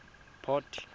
port